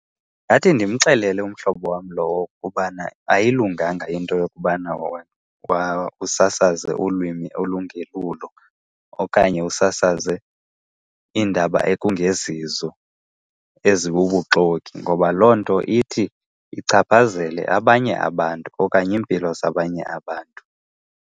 Ngathi ndimxelele umhlobo wam lowo ukubana ayilunganga into yokubana usasaze ulwimi olungelulo okanye usasaze iindaba ekungezizo, ezibubuxoki, ngoba loo nto ithi ichaphazele abanye abantu okanye iimpilo zabanye abantu.